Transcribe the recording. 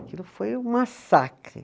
Aquilo foi um massacre.